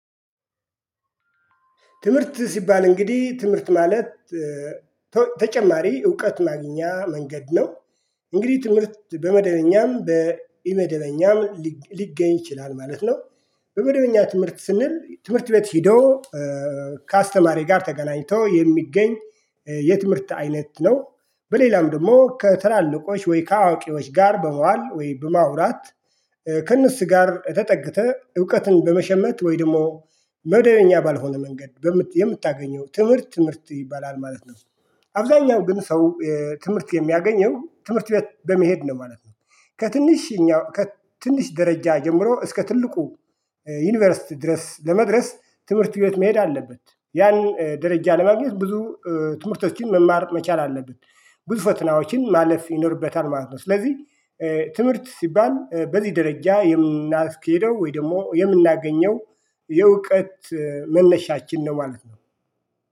ትምህርት ሲባል እንግዲህ ትምህርት ማለት ተጨማሪ እውቀት ማግኛ መንገድ ነው። እንግዲህ ትምህርት በመደበኛም በኢመደበኛም ሊገኝ ይችላል ማለት ነው። በመደበኛ ትምህርት ስንል ትምህርት ቤት ሄዶ ከአስተማሪ ጋር ተገናኝቶ የሚገኝ የትምህርት አይነት ነው። በሌላም ደግሞ ከትላልቆች ወይ ከአዋቂዎች ጋር በዋል ወይ በማውራት ከእነሱ ጋር ተጠግተህ እውቀትን በመሸመት ወይ ደግሞ መደበኛ ባልሆነ መንገድ የምታገኘው ትምህርት ትምህርት ይባላል ማለት ነው። አብዛኛው ግን ሰው ትምህርት የሚያገኘው ትምህርት ቤት በመሄድ ነው ማለት ነው። ከትንሽኛው ከትንሽ ደረጃ ጀምሮ እስከ ትልቁ ዩኒቨርሲቲ ድረስ ለመድረስ ትምህርት ቤት መሄድ አለበት ያን ደረጃ ለማግኘት ብዙ ትምህርቶችን መማር መቻል አለብን። ብዙ ፈትናዎችን ማለፍ ይኖርበታል ማለት ነው። ስለዚህ ትምህርት ሲባል በዚህ ደረጃ የምናስኬደው ወይ ደግሞ የምናገኘው የእውቀት መነሻችን ነው ማለት ነው